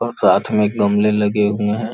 और साथ में गमले लगे हुए हैं।